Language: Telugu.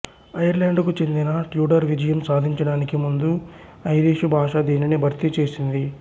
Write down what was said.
ఐర్లాండుకు చెందిన ట్యూడర్ విజయం సాధించడానికి ముందు ఐరిషు భాష దీనిని భర్తీ చేసింది